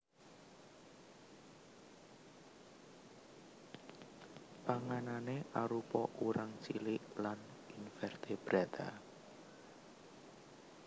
Panganané arupa urang cilik lan invertebrata